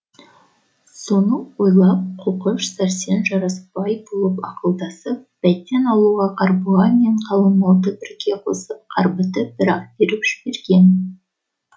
соны ойлап қоқыш сәрсен жарасбай болып ақылдасып бәйтен аулына қарғыбай мен қалың малды бірге қосып қарбытып бір ақ беріп жіберген